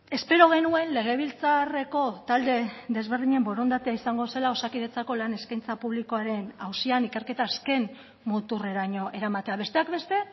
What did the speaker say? espero genuen legebiltzarreko talde desberdinen borondatea izango zela osakidetzako lan eskaintza publikoaren auzian ikerketa azken muturreraino eramatea besteak beste